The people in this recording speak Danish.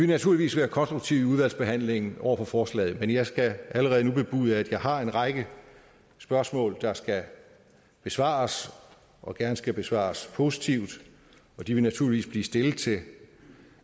naturligvis være konstruktive i udvalgsbehandlingen over for forslaget men jeg skal allerede nu bebude at jeg har en række spørgsmål der skal besvares og gerne skal besvares positivt de vil naturligvis blive stillet til